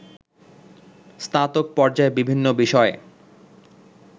স্নাতক পর্যায়ে বিভিন্ন বিষয়ে